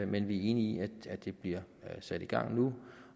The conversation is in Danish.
men vi er enige i at det bliver sat i gang nu